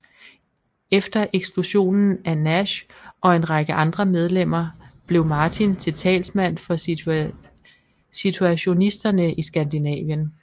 Efter eksklusionen af Nash og en række andre medlemmer blev Martin til talsmand for situationisterne i Skandinavien